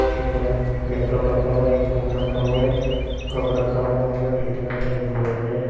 एक लैपटॉप रखा हुआ है एक फोन रखा हुआ है कप रखा हुआ है यहां पर टिफिन रखा है एक ग्लोब है।